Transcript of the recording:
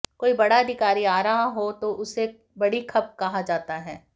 कोई बड़ा अधिकारी आ रहा हो तो उसे बड़ी खप कहा जाता हैं